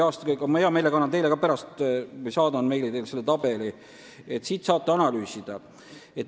Ma hea meelega saadan teile pärast meili teel selle tabeli, et saaksite ka analüüsida.